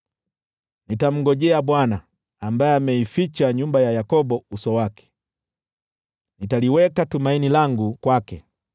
Nitamngojea Bwana , ambaye ameificha nyumba ya Yakobo uso wake. Nitaliweka tumaini langu kwake.